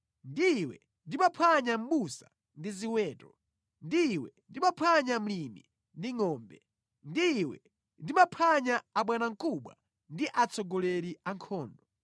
Ndi iwe ndimaphwanya mʼbusa ndi ziweto, ndi iwe ndimaphwanya mlimi ndi ngʼombe, ndi iwe ndimaphwanya abwanamkubwa ndi atsogoleri a ankhondo.